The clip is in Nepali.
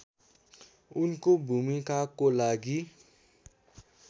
उनको भूमिकाको लागि